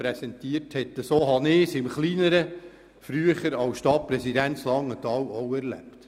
Es entspricht dem, was ich früher als Stadtpräsident in Langenthal auch erlebt habe.